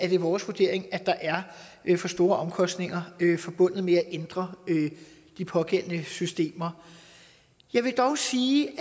det vores vurdering at der er for store omkostninger forbundet med at ændre de pågældende systemer jeg vil dog sige